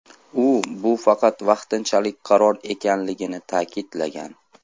U bu faqat vaqtinchalik qaror ekanligini ta’kidlagan.